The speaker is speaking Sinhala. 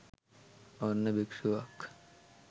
ඔන්න භික්ෂුවක්